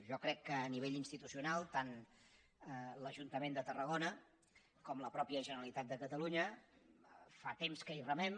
jo crec que a nivell institucional tant l’ajuntament de tarragona com la mateixa generalitat de catalunya fa temps que hi remem